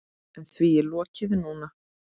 En því er lokið núna.